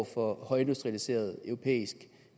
for højindustrialiseret europæisk